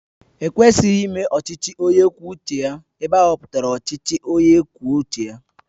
E kwesịghị ime ọchịchị onye kwuo uche ya ebe ahọpụtara ọchịchị onye kwuo uche ya